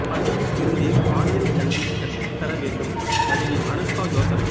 பள்ளியில் இருந்தே பாலியல் கல்வி கற்றுத்தர வேண்டும் நடிகை அனுஷ்கா யோசனை